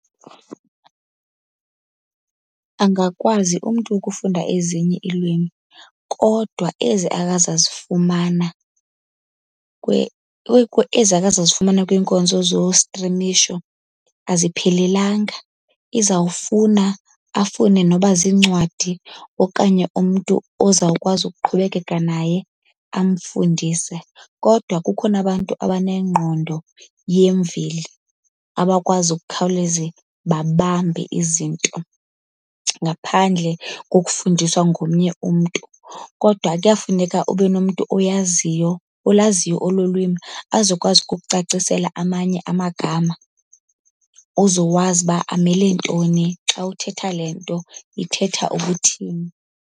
Angakwazi umntu ukufunda ezinye iilwimi, kodwa ezi akazazifumana ezi akazozifumana kwiinkonzo zostrimisho aziphelelanga. Izawufuna afune noba ziincwadi okanye umntu ozawukwazi ukuqhubekeka naye amfundise. Kodwa kukhona abantu abanengqondo yemveli, abakwazi ukukhawuleze babambe izinto ngaphandle kokufundiswa ngomnye umntu. Kodwa kuyafuneka ubenomntu oyaziyo olaziyo olo lwimi azokwazi ukukucacisela amanye amagama, uzowazi uba amele ntoni. Xa uthetha le nto, ithetha ukuthini.